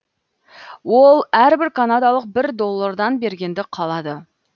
ол әрбір канадалық бір доллардан бергенді қалады